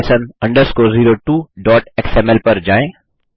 basic lesson 02xml पर जाएँ